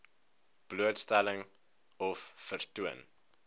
blootstelling of vertoon